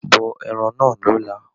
Bọ ẹran náà lọ́la.